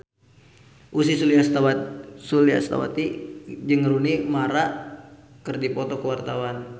Ussy Sulistyawati jeung Rooney Mara keur dipoto ku wartawan